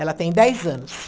Ela tem dez anos.